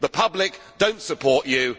you. The public does not support